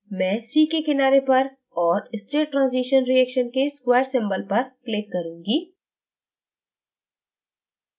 मैं c के किनारे पर और state transition reaction के square symbol पर click करूँगी